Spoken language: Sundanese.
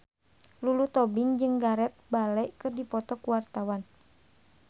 Lulu Tobing jeung Gareth Bale keur dipoto ku wartawan